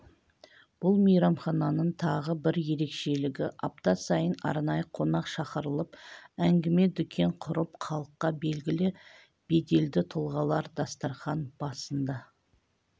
бұл мейрамхананың тағы бір ерекшелігі апта сайын арнайы қонақ шақырылып әңгіме-дүкен құрып халыққа белгілі беделді тұлғалар дастархан басында